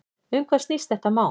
Um hvað snýst þetta mál?